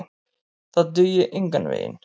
Það dugi engan veginn.